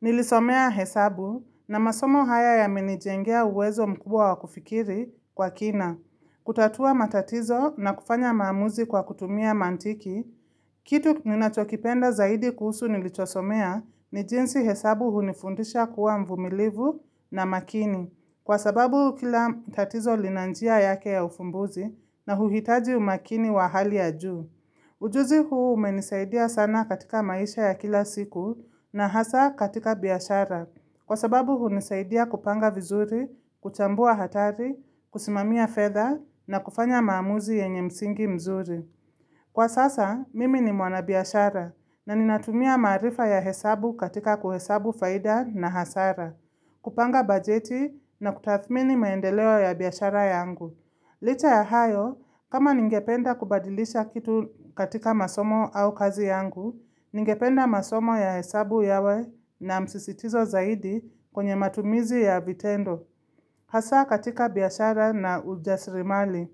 Nilisomea hesabu na masomo haya yamenijengea uwezo mkubwa wa kufikiri kwa kina. Kutatua matatizo na kufanya maamuzi kwa kutumia mantiki, kitu ninachokipenda zaidi kuhusu nilichosomea ni jinsi hesabu hunifundisha kuwa mvumilivu na makini. Kwa sababu kila tatizo lina njia yake ya ufumbuzi na huhitaji umakini wa hali ya juu. Ujuzi huu umenisaidia sana katika maisha ya kila siku na hasa katika biashara, kwa sababu hunisaidia kupanga vizuri, kuchambua hatari, kusimamiya feather na kufanya maamuzi yenye msingi mzuri. Kwa sasa, mimi ni mwana biashara na ninatumia marifa ya hesabu katika kuhesabu faida na hasara, kupanga bajeti na kutathmini maendeleo ya biyashara yangu. Licha ya hayo, kama ningependa kubadilisha kitu katika masomo au kazi yangu, ningependa masomo ya hesabu yawe na msisitizo zaidi kwenye matumizi ya vitendo, kasa katika biashara na ujasrimali.